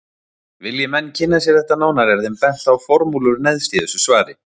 Vilji menn kynna sér þetta nánar er þeim bent á formúlur neðst í þessu svari.